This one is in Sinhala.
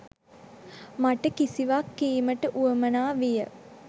මට කිසිවක් කීමට වුවමනා විය.